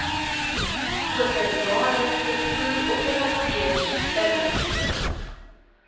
openbare vervoeroperateurs binne